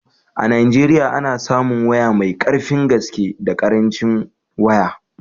A Najeriya ana samun waya mai karfin gaske da karancin waya